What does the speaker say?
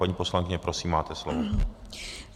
Paní poslankyně, prosím, máte slovo.